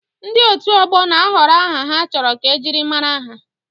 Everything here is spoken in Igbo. Ndị otu ọgbọ na-ahọrọ aha ha chọrọ ka ejiri mara ha.